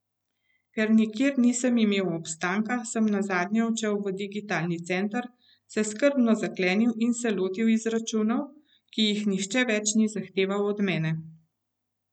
Ker nikjer nisem imel obstanka, sem nazadnje odšel v digitalni center, se skrbno zaklenil in se lotil izračunov, ki jih nihče več ni zahteval od mene.